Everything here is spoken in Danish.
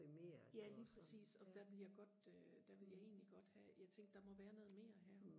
ja lige præcis og der ville jeg godt øh der ville jeg egentlig godt have jeg tænkte der må være noget mere her